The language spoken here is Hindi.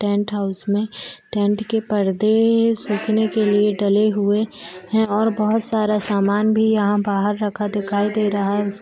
टेंट हाउस मे टेंट के पर्दे सूखने के लिए डले हुए हैं और बहोत सारा सामान भी यहाँ बाहर रखा दिखाई दे रहा है। उस --